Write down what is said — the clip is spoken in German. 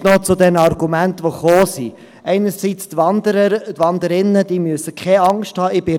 Vielleicht noch zu den Argumenten, die gekommen sind: Die Wanderer und Wanderinnen müssen keine Angst haben.